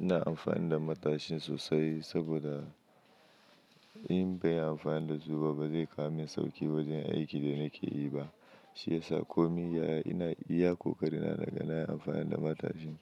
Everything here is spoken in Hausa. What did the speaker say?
Ina amfani da matashin sosai saboda in bai amfani da su ba, ba zai kawo min sauki wurin aikin da nake yi ba. Shi yasa komi ya ina iya ƙoƙari na naga nayi amfani da matashin.